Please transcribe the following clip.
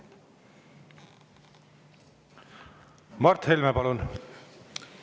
Mart Helme, palun!